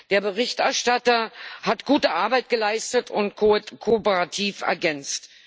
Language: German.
Der Berichterstatter hat gute Arbeit geleistet und kooperativ ergänzt.